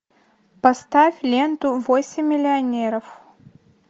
поставь ленту восемь миллионеров